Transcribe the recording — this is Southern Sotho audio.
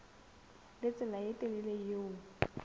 le tsela e telele eo